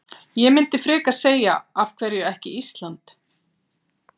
Ég myndi frekar segja af hverju ekki Ísland?